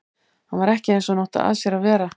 Hann var ekki eins og hann átti að sér að vera.